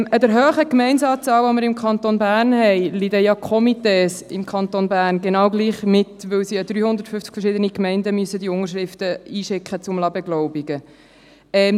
An der hohen Anzahl Gemeinden, die wir im Kanton Bern haben, leiden die Komitees im Kanton Bern genau gleich mit, weil sie die Unterschriften an 350 verschiedene Gemeinden zur Beglaubigung schicken müssen.